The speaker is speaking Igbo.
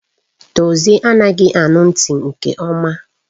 Dozie anaghị anụ ntị nke ọma